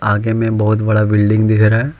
आगे में बहुत बड़ा बिल्डिंग दिख रहा है।